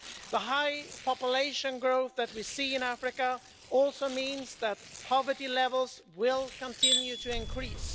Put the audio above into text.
The high population growth that we see in Africa also means that poverty levels will continue to increase.